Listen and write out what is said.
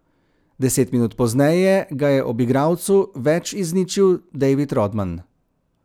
Deset minut pozneje ga je ob igralcu več izničil David Rodman.